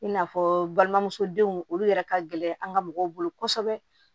I n'a fɔ balimamuso denw olu yɛrɛ ka gɛlɛn an ka mɔgɔw bolo kosɛbɛ